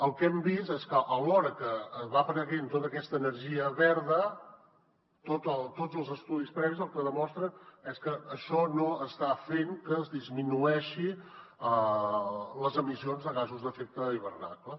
el que hem vist és que alhora que va apareixent tota aquesta energia verda tots els estudis previs el que demostren és que això no està fent que disminueixin les emissions de gasos d’efecte hivernacle